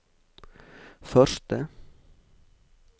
første